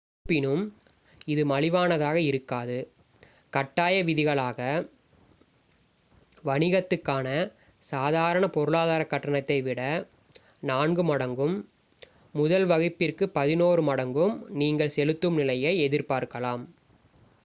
இருப்பினும் இது மலிவானதாக இருக்காது கட்டாய விதிகளாக வணிகத்துக்கான சாதாரண பொருளாதாரக் கட்டணத்தை விட நான்கு மடங்கும் முதல் வகுப்பிற்கு பதினொரு மடங்கும் நீங்கள் செலுத்தும் நிலையை எதிர்பார்க்கலாம்